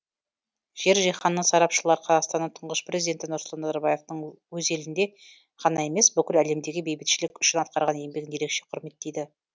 жер жиһанның сарапшылар қазақстанның тұңғыш президенті нұрсұлтан назарбаевтың өз елінде ғана емес бүкіл әлемдегі бейбітшілік үшін атқарған еңбегін ерекше құрметтейді